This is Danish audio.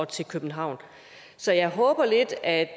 til københavn så jeg håber lidt at